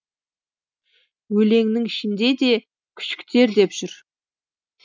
өлеңнің ішінде де күшіктер деп жүр